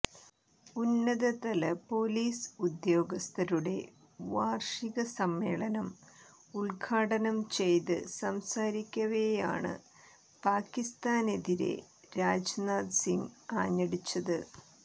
ഉന്നതതല പൊലീസ് ഉദ്യോഗസ്ഥരുടെ വാര്ഷിക സമ്മേളനം ഉദ്ഘാടനം ചെയ്ത് സംസാരിക്കവെയാണ് പാകിസ്താനെതിരെ രാജ്നാഥ് സിംഗ് ആഞ്ഞടിച്ചത്